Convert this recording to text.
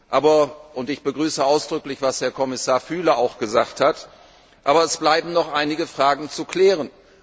Aber und ich begrüße ausdrücklich, was Herr Kommissar Füle auch gesagt hat es bleiben noch einige Fragen zu klären.